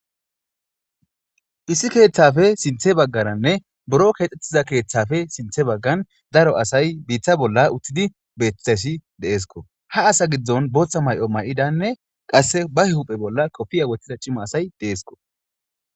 issi keeththafe sinthe baggaranne buro keexxettiza keeththafe sinthe baggan daro asay biitha bolla uttidi bethesi deesko ha asa giddon booththa may7o may7idanne qasse ba huphe bolla kofiya wottida cima asay deesko